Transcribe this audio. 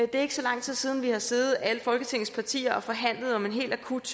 det er ikke så lang tid siden at vi har siddet alle folketingets partier og forhandlet om en helt akut